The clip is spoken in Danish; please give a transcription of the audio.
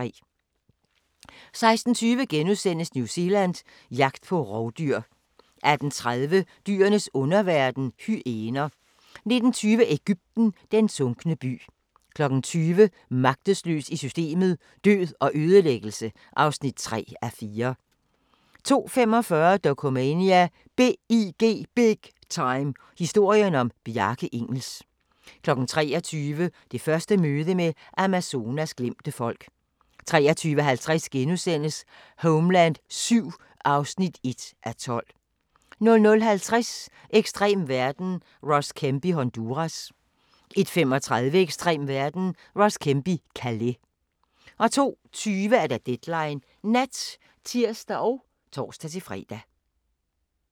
16:20: New Zealand – jagt på rovdyr * 18:30: Dyrenes underverden – hyæner 19:20: Egypten – den sunkne by 20:00: Magtesløs i systemet: Død og ødelæggelse (3:4) 20:45: Dokumania: BIG Time – historien om Bjarke Ingels 23:00: Det første møde med Amazonas glemte folk 23:50: Homeland VII (1:12)* 00:50: Ekstrem verden – Ross Kemp i Honduras 01:35: Ekstrem verden – Ross Kemp i Calais 02:20: Deadline Nat (tir og tor-fre)